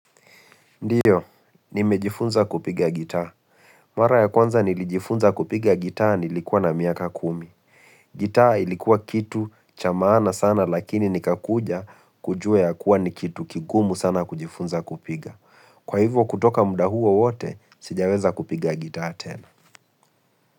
Ndio, nimejifunza kupiga gitaa. Mara ya kwanza nilijifunza kupiga gitaa nilikuwa na miaka kumi. Gitaa ilikuwa kitu cha maana sana lakini nikakuja kujua ya kuwa ni kitu kigumu sana kujifunza kupiga. Kwa hivyo kutoka muda huo wote, sijaweza kupiga gitaa tena.